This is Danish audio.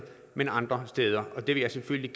men andre steder og det vil jeg selvfølgelig